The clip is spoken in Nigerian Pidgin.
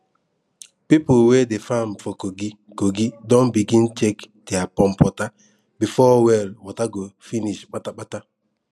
people wey dey farm for kogi kogi don begin check dere pump water before well water go finish pata pata